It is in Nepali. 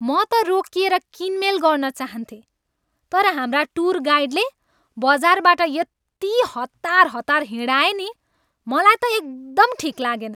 म त रोकिएर किनमेल गर्न चाहन्थेँ तर हाम्रा टुर गाइडले बजारबाट यति हतार हतार हिँडाए नि मलाई त एकदमै ठिक लागेन।